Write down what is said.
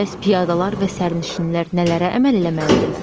Bəs piyadalar və sərnişinlər nələrə əməl eləməlidirlər?